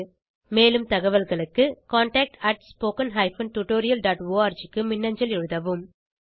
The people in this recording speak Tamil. மேலும் தகவல்களுக்கு contactspoken tutorialorg க்கு மின்னஞ்சல் எழுதவும்